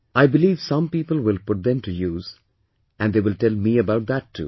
I believe some people will put them to use and they will tell me about that too